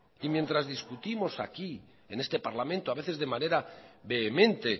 y mientras discutimos aquí en este parlamento a veces de manera vehemente